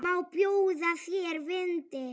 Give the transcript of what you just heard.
Má bjóða þér vindil?